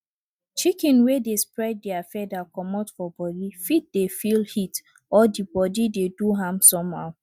chicken wey dey spread dere feather comot for body fit dey feel heat or di body dey do am somehow